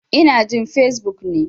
In jin Fesbuk ne.